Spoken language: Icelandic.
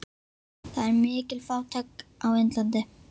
Það er mikil fátækt á Indlandi.